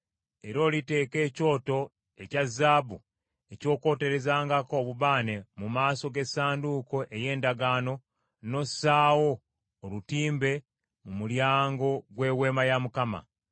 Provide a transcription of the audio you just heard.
Era oliteeka ekyoto ekya zaabu eky’okwoterezangako obubaane mu maaso g’Essanduuko ey’Endagaano, n’ossaawo olutimbe mu mulyango gw’Eweema ya Mukama .